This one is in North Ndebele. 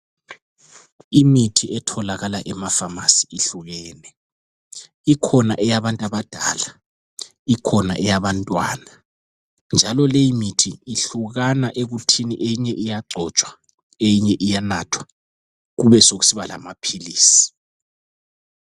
Imithi etholakala emapharmacy ihlukene. Ikhona eyabantu abadala, ikhona eyabantwana. Njalo leyimithi ihlukana ekuthini eyinye iyagcotshwa, eyinye iyanathwa, kubesokusiba lamaphilisi.